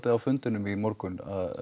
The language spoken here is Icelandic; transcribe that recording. á fundinum í morgun